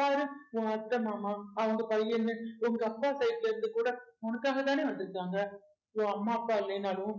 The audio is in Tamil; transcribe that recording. பாரு உன் அத்தை மாமா அவங்க பையனு உங்க அப்பா side ல இருந்து கூட உனக்காகதானே வந்திருக்காங்க so அம்மா அப்பா இல்லைனாலும்